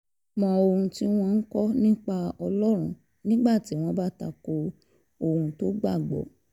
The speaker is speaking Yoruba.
mọ́ ohun tí wọ́n ń kọ́ ọ nípa ọlọ́run nígbà tí wọ́n bá ta ko ohun tó gbà gbọ́